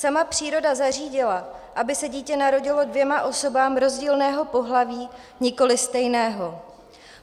Sama příroda zařídila, aby se dítě narodilo dvěma osobám rozdílného pohlaví, nikoli stejného.